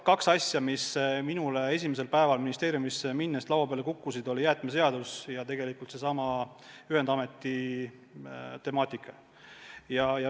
Kaks asja, mis minule esimesel päeval ministeeriumis olles laua peale kukkusid, olid jäätmeseadus ja seesama ühendameti temaatika.